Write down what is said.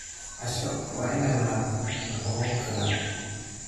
Casho waa inay lahaato nafaqo ku filan.